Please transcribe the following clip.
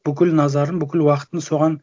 бүкіл назарын бүкіл уақытын соған